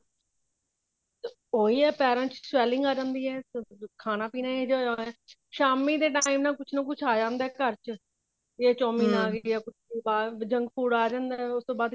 ਉਹੀ ਹੈ ਪੈਰਾ ਚ swelling ਆ ਜਾਂਦੀ ਹੈ ਖਾਣਾ ਪੀਣਾ ਇਹੋ ਜਿਹਾ ਹੋਇਆ ਸ਼ਾਮੀ ਦੇ time ਨਾ ਕੁੱਛ ਨਾ ਕੁੱਛ ਆ ਜਾਂਦਾ ਘਰ ਚ ਇਹ ਚੋਮਿਨ ਆ ਗਈ ਜਾ ਕੁੱਛ ਬਾਹਰ junk food ਆ ਜਾਂਦਾ ਉਸ ਤੋਂ ਬਾਅਦ